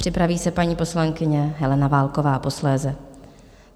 Připraví se paní poslankyně Helena Válková posléze.